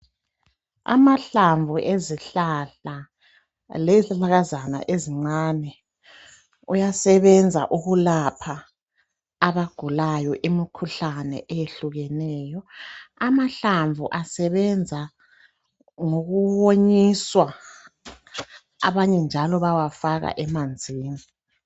Amahlamvu ezihlahla lezihlahlakazana ezincane kuyasebenza ukulapha abagulayo. Imikhuhlane eyehlukeneyo. Amahlamvu asebenza ngokuwonyiswa, abanye njalo bayawafaka emanzini.